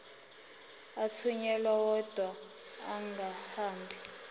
athunyelwa odwa angahambi